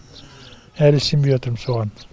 әлі сенбей отырм соған